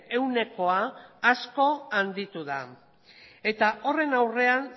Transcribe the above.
ehunekoa asko handitu da eta horren aurrean